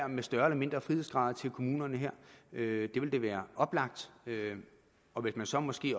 med større eller mindre frihedsgrader til kommunerne her det ville da være oplagt og man kunne så måske